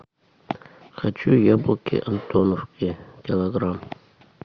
хочу яблоки антоновки килограмм